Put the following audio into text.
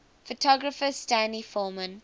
photographer stanley forman